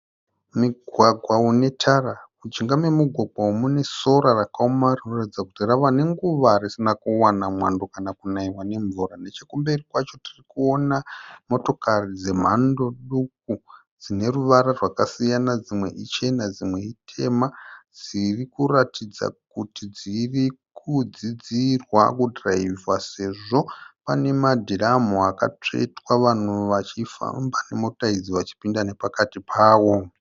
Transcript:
Mugwagwa une tara. Mujinga memugwagwa umu mune sora rakaoma ririkuratidza kuti rave nenguva risina kuwana mwando kana kunaiwa nemvura. Nechekumberi kwacho tiri kuona motokari dzemhando duku. Dzine ruvara rwakasiyana. Dzimwe ichena dzimwe itema. Dzirikuratidza kuti dziri kudzidzirwa kudhiraivhiwa sezvo pane madhiramu akatsvetswa vanhu vachifamba nemota idzi vachipinda nepakati pawo.